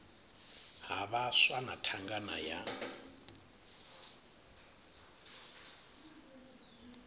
ha vhaswa na thangana ya